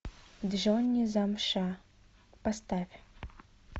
джонни замша поставь